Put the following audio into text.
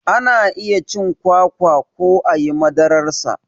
Ana iya cin kwakwa ko ayi madarar sa